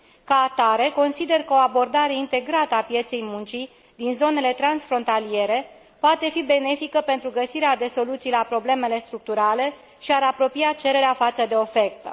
Ca atare, consider că o abordare integrată a pieței muncii din zonele transfrontaliere poate fi benefică pentru găsirea de soluții la problemele structurale și ar apropia cererea față de ofertă.